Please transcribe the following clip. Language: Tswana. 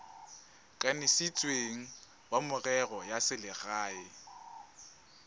kanisitsweng wa merero ya selegae